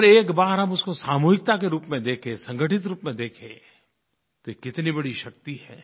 अगर एक बार हम उसको सामूहिकता के रूप में देखें संगठित रूप में देखें तो ये कितनी बड़ी शक्ति है